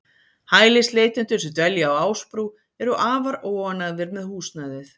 Hælisleitendur sem dvelja á Ásbrú eru afar óánægðir með húsnæðið.